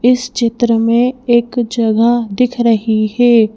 इस चित्र में एक जगह दिख रही है।